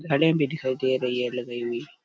गाड़िया भी दिखाई दे रही है लगाई हुई।